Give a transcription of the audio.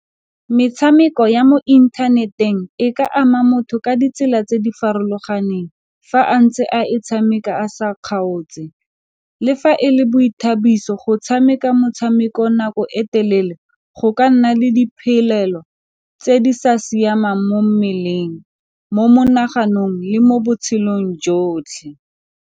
Metshameko ya mo inthaneteng e ka ama motho ka ditsela tse di farologaneng fa a ntse a e tshameka a sa kgaotse, le fa e le boithabiso, go tshameka motshameko nako e telele go ka nna le diphelelo tse di sa siamang mo mmeleng mo monaganong le mo botshelong jotlhe.